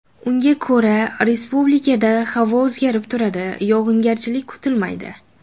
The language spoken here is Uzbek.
Unga ko‘ra, respublikada havo o‘zgarib turadi, yog‘ingarchilik kutilmaydi.